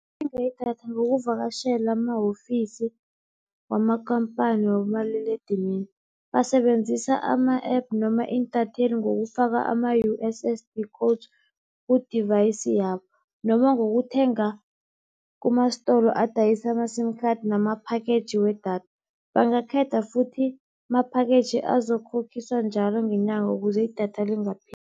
Bathenga idatha ngokuvakatjhela amahofisi wamakampani wabomaliledinini. Basebenzisa ama-app noma intatheli ngokufaka ama-U_S_S_D code ku-device yabo, noma ngokuthenga kumastolo adayisa ama-sim card nama-package wedatha. Bangakhetha futhi ama-package azokhokhiswa njalo ngenyanga ukuze idatha lingapheli